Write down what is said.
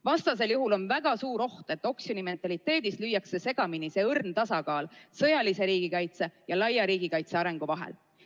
Vastasel juhul on väga suur oht, et oksjonimentaliteedi korral kaob õrn tasakaal sõjalise riigikaitse ja laiapindse riigikaitse arengu vahel.